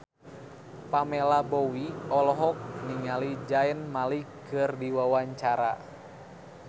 Pamela Bowie olohok ningali Zayn Malik keur diwawancara